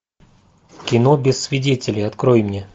кино без свидетелей открой мне